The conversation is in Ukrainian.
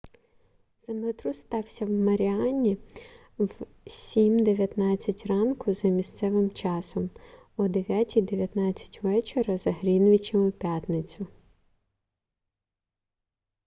землетрус стався в маріані в 07:19 ранку за місцевим часом о 09:19 вечора за гринвічем у п'ятницю